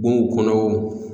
Bonw kɔnɔ o.